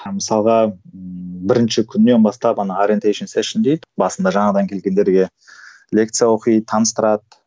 мысалға бірінші күннен бастап ана басында жаңадан келгендерге лекция оқиды таныстырады